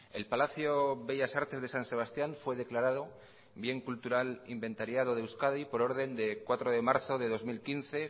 el palacio bellas artes de san sebastián fue declarado bien cultural inventariado de euskadi por orden de cuatro de marzo de dos mil quince